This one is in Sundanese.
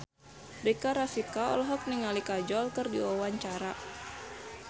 Rika Rafika olohok ningali Kajol keur diwawancara